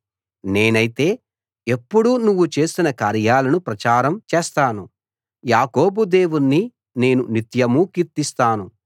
నేనైతే ఎప్పుడూ నువ్వు చేసిన కార్యాలను ప్రచారం చేస్తాను యాకోబు దేవుణ్ణి నేను నిత్యమూ కీర్తిస్తాను